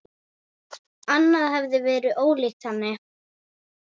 Annað hefði verið ólíkt henni.